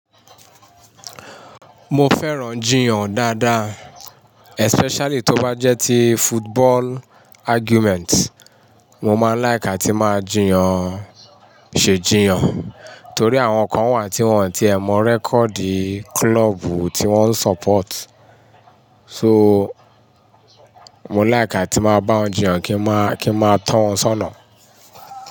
Mo fẹ́ràn jiyàn dáadáa, especially tó bá jẹ́ ti football argument. Mo máa láìk átí máa jiyàn, ṣe jiyàn. Torí àwọn kan wà tí wọ́n ti ẹ̀ mọ́ record club tí wọ́n support. So, mo láìk átí máa bá wọn jiyàn kí n máa, kí n máa tó wọn sọ́nà.